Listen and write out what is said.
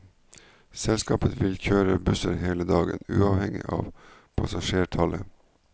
Selskapet vil kjøre busser hele dagen, uavhengig av passasjertallet.